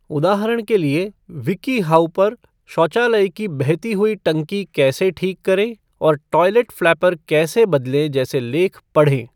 उदाहरण के लिए, विकीहाउ पर शौचालय की बहती हुई टंकी कैसे ठीक करें और टॉयलेट फ़्लैपर कैसे बदलें जैसे लेख पढ़ें।